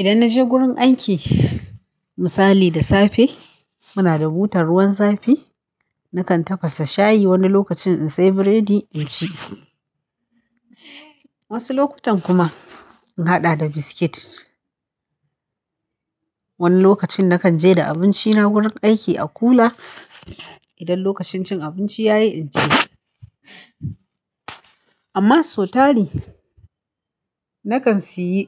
Idan na je wurin aiki misali da safe, muna da butar ruwan zafi. Nakan tafasa shayi wani lokacin in sai burodi in ci. Wasu lokutan kuma in haɗa da biskit. Wani lokacin nakan je da abinci na wurin aiki a kula. Idan lokacin cin abinci ya yi, in ci. Amma sotari nakan siyi